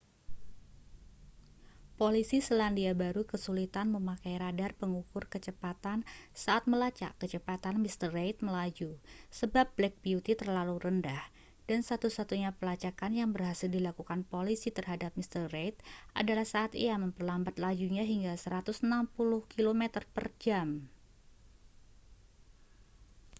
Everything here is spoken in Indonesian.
polisi selandia baru kesulitan memakai radar pengukur kecepatan saat melacak kecepatan mr reid melaju sebab black beauty terlalu rendah dan satu-satunya pelacakan yang berhasil dilakukan polisi terhadap mr reid adalah saat ia memperlambat lajunya hingga 160 km/jam